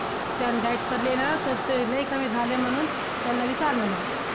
त्यांनी diet केली ना, तर ते लय कमी झालंय म्हणून, त्यांना विचार म्हणून!